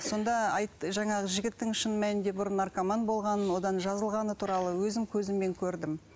сонда айтты жаңағы жігіттің шын мәнінде бұрын наркоман болғанын одан жазылғаны туралы өзім көзіммен көрдім